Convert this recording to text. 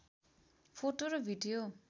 photo र video